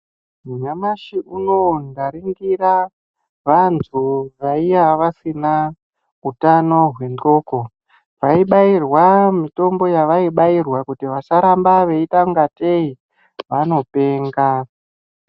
Nyamashi unowu ndaringira vantu vaiya vasina utano wendxoko vaibairwa mutombo yavaibairwa kuti vasaramba veitangatei vanopenga.